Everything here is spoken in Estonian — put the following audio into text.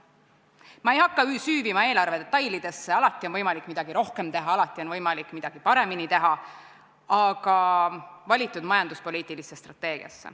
Ma ei hakka süüvima eelarve detailidesse – alati on võimalik midagi rohkem teha, alati on võimalik midagi paremini teha –, aga tahan ära märkida valitud majanduspoliitilist strateegiat.